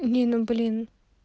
не ну блин